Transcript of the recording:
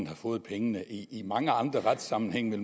har fået pengene i i mange andre retssammenhænge